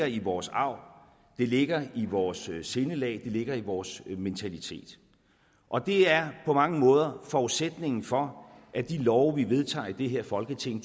i vores arv det ligger i vores sindelag det ligger i vores mentalitet og det er på mange måder forudsætningen for at de love vi vedtager i det her folketing